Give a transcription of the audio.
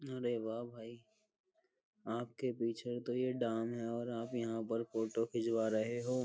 अरे वाह भाई आपके पीछे तो ये डैम है और आप यहां पर फोटो खिचवा रहे हो।